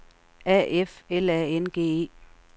A F L A N G E